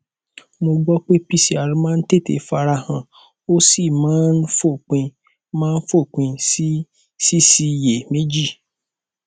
mo gbọ pé pcr máa ń tètè fara han ó sì máa ń fòpin máa ń fòpin sí síṣiyèméjì